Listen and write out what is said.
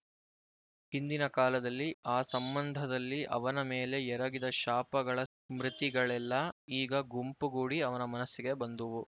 ಹಿಂದಿನ ಕಾಲದಲ್ಲಿ ಆ ಸಂಬಂಧದಲ್ಲಿ ಅವನ ಮೇಲೆ ಎರಗಿದ ಶಾಪಗಳ ಸ್ಮೃತಿಗಳೆಲ್ಲ ಈಗ ಗುಂಪುಗೂಡಿ ಅವನ ಮನಸ್ಸಿಗೆ ಬಂದುವು